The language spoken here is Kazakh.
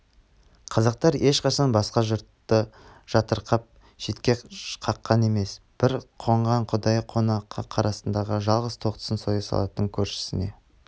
қазақтар ешқашан басқа жұртты жатырқап шетке қаққан емес бір қонған құдайы қонаққа қорасындағы жалғыз тоқтысын соя салатын көршісіне